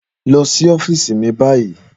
Lọ sí ọ́fíìsì mi báyìí